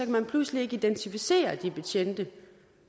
man pludselig ikke identificere de betjente